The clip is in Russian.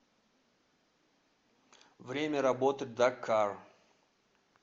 время работы дакар